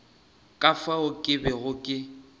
ka fao ke bego ke